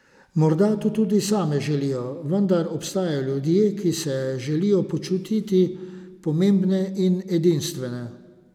Morda to tudi same želijo, vendar obstajajo ljudje, ki se želijo počutiti pomembne in edinstvene.